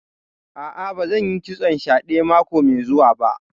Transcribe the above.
A'a, ba zan yi kitson shadè mako mai zuwa ba